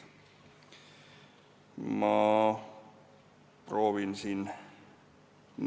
Ma proovin siin ...